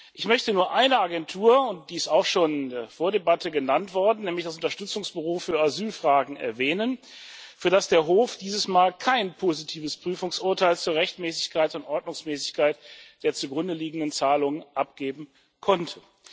Ich möchte nur eine Agentur erwähnen, und diese ist auch schon vor der Debatte genannt worden, nämlich das Unterstützungsbüro für Asylfragen, für das der Hof dieses Mal kein positives Prüfungsurteil zur Rechtmäßigkeit und Ordnungsmäßigkeit der zugrundeliegenden Zahlungen abgeben konnte.